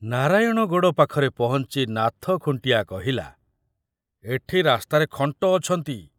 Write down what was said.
ନାରାୟଣଗଡ଼ ପାଖରେ ପହଞ୍ଚି ନାଥ ଖୁଣ୍ଟିଆ କହିଲା, ଏଠି ରାସ୍ତାରେ ଖଣ୍ଟ ଅଛନ୍ତି।